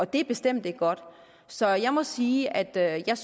det er bestemt ikke godt så jeg må sige at jeg